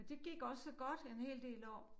Og det gik også så godt en hel del år